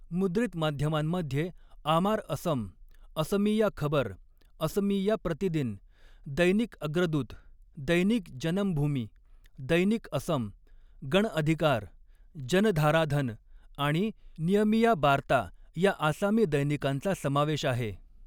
मुद्रित माध्यमांमध्ये 'आमार असम', 'असमीया खबर', 'असमिया प्रतिदिन', 'दैनिक अग्रदूत', 'दैनिक जनमभूमि', 'दैनिक असम', 'गण अधिकार', 'जनधाराधन' आणि 'नियमिया बार्ता' या आसामी दैनिकांचा समावेश आहे.